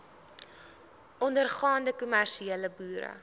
ondergaande kommersiële boere